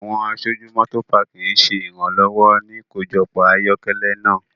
Awọn aṣoju Motopaaki ṣe iranlọwọ ni ikojọpọ ayokele naa